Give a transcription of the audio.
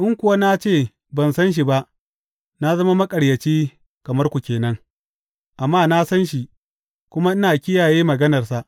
In kuwa na ce ban san shi ba, na zama maƙaryaci kamar ku ke nan, amma na san shi, kuma ina kiyaye maganarsa.